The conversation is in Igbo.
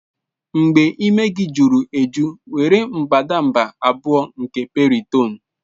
Mgbe imi gị juru eju, were mbadamba 2 nke Piriton.